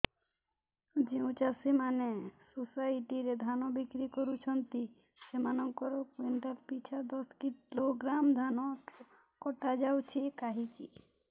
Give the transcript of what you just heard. ଯେଉଁ ଚାଷୀ ମାନେ ସୋସାଇଟି ରେ ଧାନ ବିକ୍ରି କରୁଛନ୍ତି ସେମାନଙ୍କର କୁଇଣ୍ଟାଲ ପିଛା ଦଶ କିଲୋଗ୍ରାମ ଧାନ କଟା ଯାଉଛି କାହିଁକି